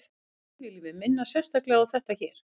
því viljum við minna sérstaklega á þetta hér